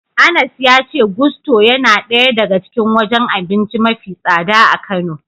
Anas ya ce Gusto yana daya daga cikin wajen abinci mafi tsada a Kano.